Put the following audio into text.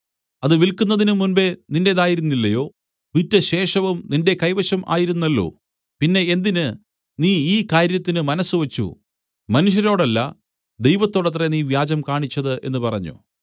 അത് വില്ക്കുന്നതിന് മുമ്പെ നിന്റേതായിരുന്നില്ലയോ വിറ്റശേഷവും നിന്റെ കൈവശം ആയിരുന്നല്ലോ പിന്നെ എന്തിന് നീ ഈ കാര്യത്തിന് മനസ്സുവെച്ചു മനുഷ്യരോടല്ല ദൈവത്തോടത്രേ നീ വ്യാജം കാണിച്ചത് എന്ന് പറഞ്ഞു